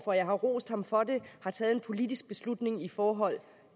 for jeg har rost ham for det har taget en politisk beslutning i forhold